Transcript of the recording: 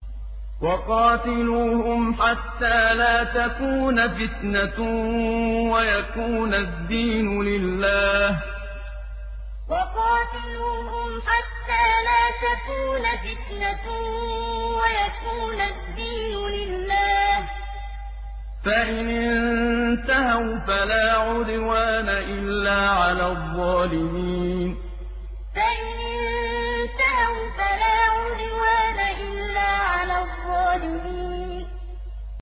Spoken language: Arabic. وَقَاتِلُوهُمْ حَتَّىٰ لَا تَكُونَ فِتْنَةٌ وَيَكُونَ الدِّينُ لِلَّهِ ۖ فَإِنِ انتَهَوْا فَلَا عُدْوَانَ إِلَّا عَلَى الظَّالِمِينَ وَقَاتِلُوهُمْ حَتَّىٰ لَا تَكُونَ فِتْنَةٌ وَيَكُونَ الدِّينُ لِلَّهِ ۖ فَإِنِ انتَهَوْا فَلَا عُدْوَانَ إِلَّا عَلَى الظَّالِمِينَ